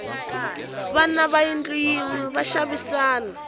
vana va yindlu yinew va xavisana